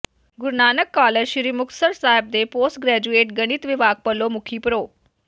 ਗੁਰੂ Nanak college Sri Muktsar Sahib ਦੇ post graduate ਗਣਿਤ ਵਿਭਾਗ ਵੱਲੋਂ ਮੁਖੀ ਪ੍ਰਰੋ